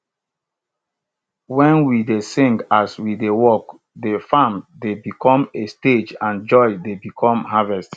wen we dey sing as we dey work de farm dey become a stage and joy dey become harvest